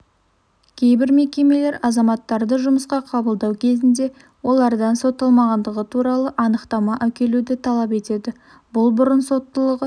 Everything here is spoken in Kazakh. кейбір мекемелер азаматтарды жұмысқа қабылдау кезінде олардан сотталмағандығы туралы анықтама әкелуді талап етеді бұл бұрын соттылығы